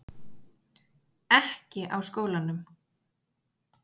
Ekki á skólanum.